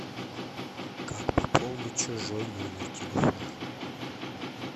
как пополнить чужой номер телефона